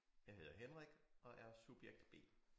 Jeg hedder Henrik og er subjekt B